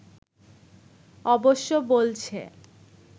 অবশ্য বলছে